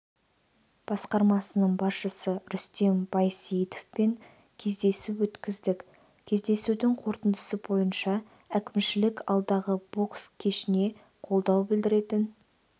басқармасының басшысы рүстем байсейітовпен кездесу өткіздік кездесудің қорытындысы бойынша әкімшілік алдағы бокс кешіне қолдау білдіретін